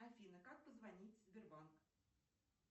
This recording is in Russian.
афина как позвонить в сбербанк